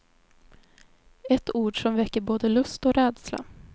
Ett ord som väcker både lust och rädsla.